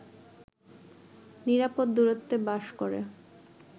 নিরাপদ দূরত্বে বাস করে